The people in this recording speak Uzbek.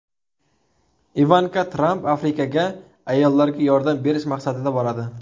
Ivanka Tramp Afrikaga ayollarga yordam berish maqsadida boradi.